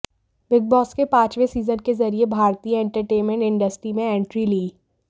big Boss के पांचवें season के जरिए भारतीय एंटरटेनमेंट इंडस्ट्री में एंट्री ली